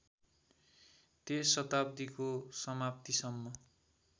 त्यस शताब्दीको समाप्तिसम्म